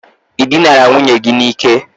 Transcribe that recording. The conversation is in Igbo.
I dinara nwunye gi n' Ike?